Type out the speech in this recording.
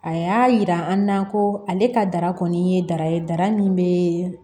A y'a yira an na ko ale ka dara kɔni ye dara ye dara min bɛ